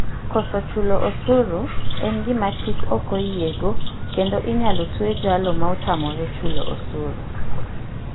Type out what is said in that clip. Koso chulo osuru en gima chik ok oyiego kendo inyalo twe jalo maotamre chulo osuru.